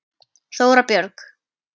Þóra Björg.